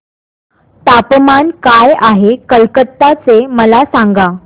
तापमान काय आहे कलकत्ता चे मला सांगा